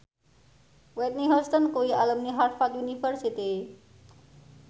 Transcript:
Whitney Houston kuwi alumni Harvard university